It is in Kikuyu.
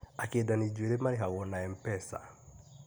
Akĩndani njuĩrĩ marĩhagwo na MPESA